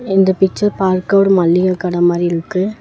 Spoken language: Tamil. இந்த பிச்சர் பார்க்க ஒரு மளிக கட மாரி இருக்கு.